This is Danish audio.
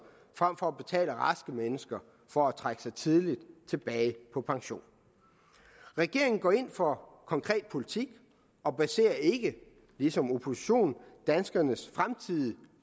frem for at betale raske mennesker for at trække sig tidligt tilbage på pension regeringen går ind for konkret politik og baserer ikke ligesom oppositionen danskernes fremtidige